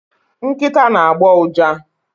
Nkịta na-agbọ ụja.